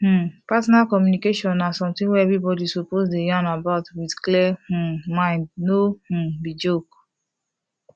um partner communication na something wey everybody suppose dey yan about with clear um mind no um be joke